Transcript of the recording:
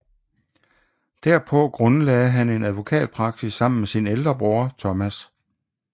Derpå grundlagde han en advokatpraksis sammen med sin ældre bror Thomas